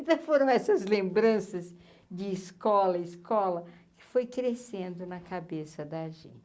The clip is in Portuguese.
foram essas lembranças de escola, escola, que foi crescendo na cabeça da gente.